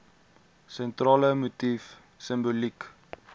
sentrale motief simboliek